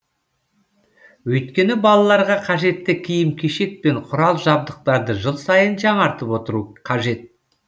өйткені балаларға қажетті киім кишек пен құрал жабдықтарды жыл сайын жаңартып отыру қажет